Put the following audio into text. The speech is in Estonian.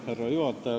Härra juhataja!